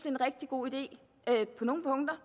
en rigtig god idé på nogle punkter